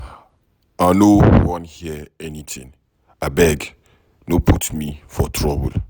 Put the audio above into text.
I no wan hear anything. Abeg, no put me for trouble.